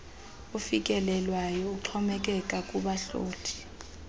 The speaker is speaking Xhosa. ofikelelwayo uxhomekeka kubahloli